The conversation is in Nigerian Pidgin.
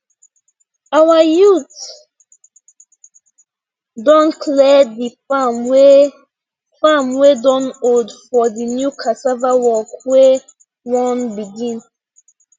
our youth don clear the farm wey farm wey don old for the new cassava work wey won begin